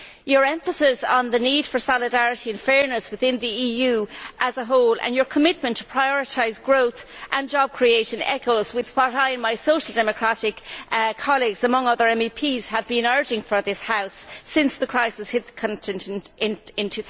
Your emphasis on the need for solidarity and fairness within the EU as a whole and your commitment to prioritise growth and job creation echoes what I and my Social Democratic colleagues, among other MEPs, have been calling for in this House since the crisis hit the continent in